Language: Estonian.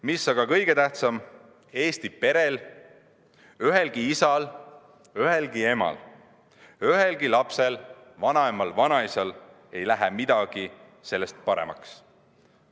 Mis aga kõige tähtsam, Eesti perel, ühelgi isal, ühelgi emal, ühelgi lapsel, vanaemal ega vanaisal ei lähe sellest midagi paremaks.